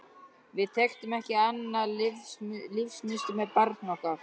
Við þekktum ekki annað lífsmunstur með barni okkar.